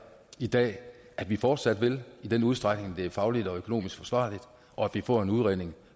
i dag er at vi fortsat vil gøre i den udstrækning det er fagligt og økonomisk forsvarligt og at vi får en udredning